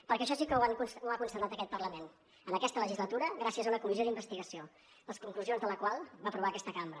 perquè això sí que ho ha constatat aquest parlament en aquesta legislatura gràcies a una comissió d’investigació les conclusions de la qual va aprovar aquesta cambra